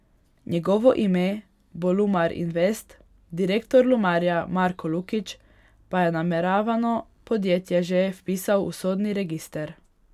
Njegovo ime bo Lumar Invest, direktor Lumarja Marko Lukić pa je nameravano podjetje že vpisal v sodni register.